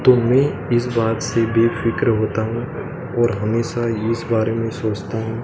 तो मै इस बात से बेफिक्र होता हूँ और हमेशा इस बारे में सोचता हूँ।